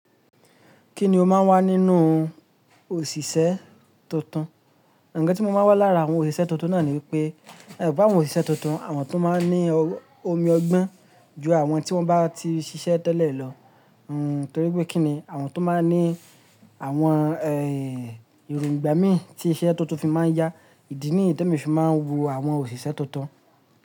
Kí ni ó máa ń wá nínú òṣìṣẹ́ tuntun? Ǹkan tí mo máa ń wá lára àwọn òṣìṣẹ́ tuntun náà ni wípé, emo wipe àwọn òṣìṣẹ́ tuntun àwọn tun máa ń ní omi ọgbọ́n ju àwọn tí wọ́n ba ti ṣiṣẹ́ tẹ́lẹ̀ lọ hmmm Torí pé kín ni àwọn tó máa ń ní àwọn ehnnn eròǹgbà mí tí iṣẹ́ tuntun fi máa ń yá. Ìdí nìyí ti èmi fi máa ń wo àwọn òṣìṣẹ́ tuntun.